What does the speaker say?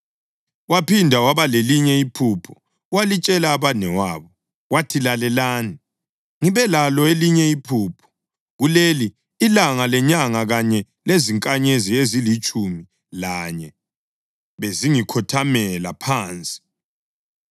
Waphinda waba lelinye iphupho, walitshela abanewabo. Wathi, “Lalelani, ngibe lalo elinye iphupho, kuleli, ilanga lenyanga kanye lezinkanyezi ezilitshumi lanye bezingikhothamela phansi.”